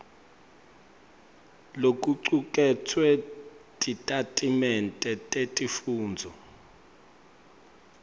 lokucuketfwe titatimende tesifundvo